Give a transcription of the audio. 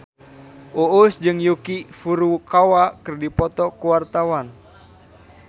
Uus jeung Yuki Furukawa keur dipoto ku wartawan